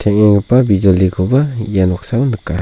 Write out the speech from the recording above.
teng·enggipa bijolikoba ia noksao nika.